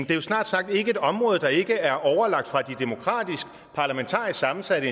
jo snart sagt ikke et område der ikke er lagt fra de demokratisk sammensatte